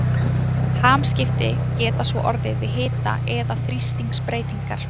Hamskipti geta svo orðið við hita- eða þrýstingsbreytingar.